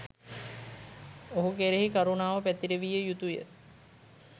ඔහු කෙරෙහි කරුණාව පැතිරවිය යුතු ය.